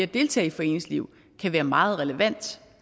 deltage i foreningsliv kan være meget relevant